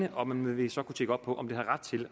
og man vil så kunne tjekke op på om de har ret til